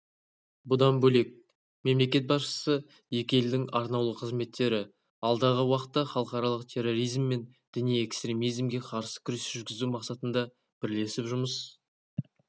бұдан бөлек мемлекет басшысы екі елдің арнаулы қызметтері алдағы уақытта халықаралық терроризм мен діни экстремизмге қарсы күрес жүргізу мақсатында бірлесіп жұмыс